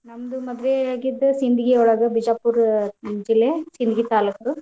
ನಮ್ದ್ ಮದ್ವೆ ಆಗಿದ್ದ ಸಿಂಧಗಿ ಒಳಗ್ ಬಿಜಾಪುರ್ ಜಿಲ್ಲೆ, ಸಿಂಧಗಿ ತಾಲೂಕು.